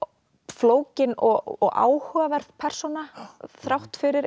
flókinn og áhugaverð persóna þrátt fyrir